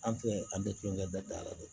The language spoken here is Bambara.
An tɛ an bɛɛ tulonkɛ bɛɛ dala don